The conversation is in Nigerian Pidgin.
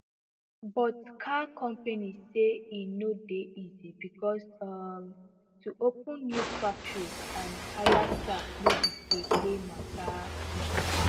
but car companies say e no dey easy becos um to open new factories and hire staff no be play play matter